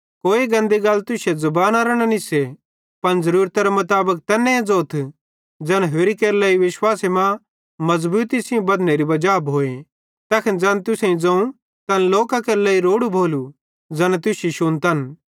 कोई गन्दी गल तुश्शे ज़बाना न निस्से पन ज़रूरतरे मुताबिक तैन्ने ज़ोथ ज़ैन होरि केरे लेइ विश्वासे मां मज़बूती सेइं बद्धनेरी वजा भोए तैखन ज़ैन तुसेईं ज़ोवं तैन लोकां केरे लेइ रोड़ू भोलू ज़ैना तुश्शी शुन्तन